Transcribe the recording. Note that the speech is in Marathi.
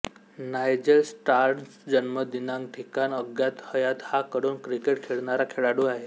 नायजेल स्टर्न्स जन्म दिनांक ठिकाण अज्ञात हयात हा कडून क्रिकेट खेळणारा खेळाडू आहे